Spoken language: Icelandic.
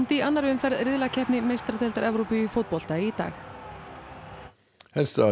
í annarri umferð riðlakeppni meistaradeildar Evrópu í fótbolta í dag